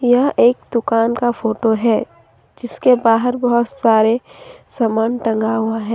यह एक दुकान का फोटो है जिसके बाहर बहुत सारे समान टंगा हुआ है।